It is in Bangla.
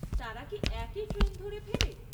তারা কি একই ট্রেন ধরে ফেরে?